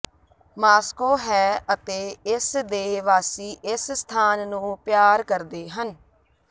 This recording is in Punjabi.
ਮਾਸ੍ਕੋ ਹੈ ਅਤੇ ਇਸ ਦੇ ਵਾਸੀ ਇਸ ਸਥਾਨ ਨੂੰ ਪਿਆਰ ਕਰਦੇ ਹਨ